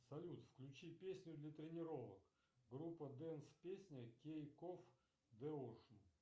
салют включи песню для тренировок группа дэнс песня кейк оф де оушен